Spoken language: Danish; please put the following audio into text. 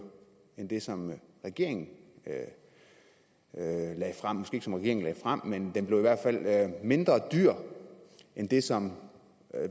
end det som regeringen lagde frem måske ikke som regeringen lagde frem men den blev i hvert fald mindre dyr end det som